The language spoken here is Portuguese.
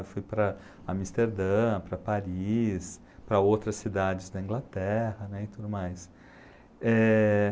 Eu fui para Amsterdã, para Paris, para outras cidades da Inglaterra, né, e tudo mais. Eh...